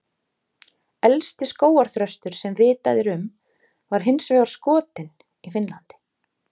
Elsti skógarþröstur sem vitað er um var hins vegar skotinn í Finnlandi.